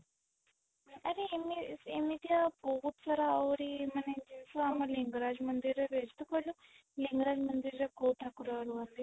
ଆରେ ଏମିତି ଏମିତିଆ ବହୁତ ସାରା ଆହୁରି ମାନେ ଯଉ ସବୁ ଆମ ଲିଙ୍ଗରାଜ ମନ୍ଦିର ରେ ହେଇଛି ତୁ କହିଲୁ ଲିଙ୍ଗରାଜ ମନ୍ଦିର ରେ କୋଉ ଠାକୁର ରୁହନ୍ତି?